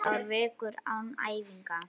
Þrjár vikur án æfinga?